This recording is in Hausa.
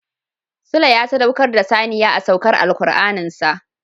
Sule ya sadaukar da saniya a saukar Alkur'anin sa.